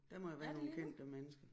Er det lige nu